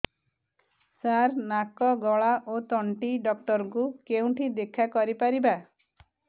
ସାର ନାକ ଗଳା ଓ ତଣ୍ଟି ଡକ୍ଟର ଙ୍କୁ କେଉଁଠି ଦେଖା କରିପାରିବା